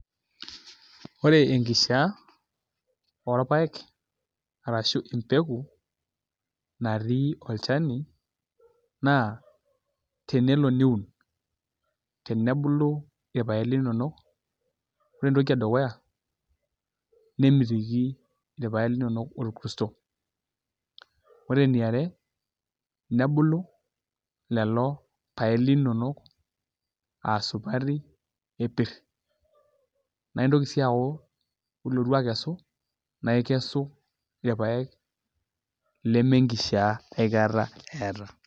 Ore enkishiaa orpaek arashu empeku natii olchani naa tenelo niun tenebulu irpaek linonok Ore entoki edukuya nemitiki irpaek linonok orkurto Ore eniare nebulu lelo paek linonok aa supati epirr naa intoki sii aaku Ore ilotu akesu naa ikesu irpaek lemenkishiaa aikata eeta.